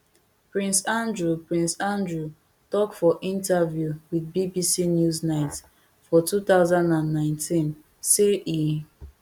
prince andrew prince andrew tok for interview with bbc newsnight for two thousand and nineteen say e